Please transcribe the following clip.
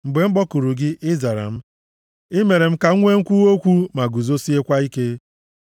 Mgbe m kpọkuru gị, ị zara m; i mere m ka m nwee nkwuwa okwu ma guzosiekwa ike.